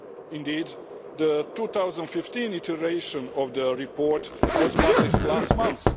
Indeed, the 2015 edition of the report was published last month.